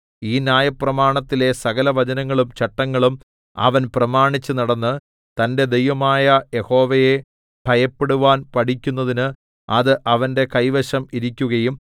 ഈ ന്യായപ്രമാണത്തിലെ സകലവചനങ്ങളും ചട്ടങ്ങളും അവൻ പ്രമാണിച്ചുനടന്ന് തന്റെ ദൈവമായ യഹോവയെ ഭയപ്പെടുവാൻ പഠിക്കുന്നതിന് അത് അവന്റെ കൈവശം ഇരിക്കുകയും